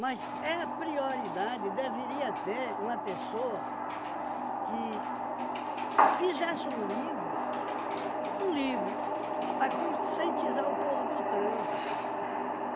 Mas é a prioridade deveria ter uma pessoa que fizesse um livro, um livro para conscientizar o povo do trânsito.